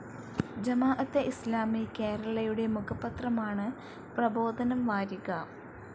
ജമാഅത്തെ ഇസ്‌ലാമി കേരളയുടെ മുഖപത്രമാണ് പ്രബോധനം വാരിക.